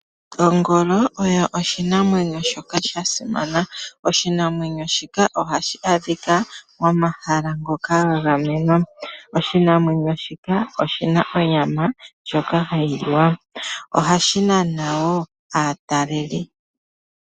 Ongolo oyo oshinamwenyo shoka sha simana. Oshinamwenyo shika ohashi adhika momahala ngoka ga gamenwa. Oshinamwenyo shika oshi na onyama ndjoka hayi liwa. Ohashi nana wo aatalelipo.